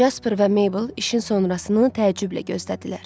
Jasper və Mabel işin sonrasını təəccüblə gözlədilər.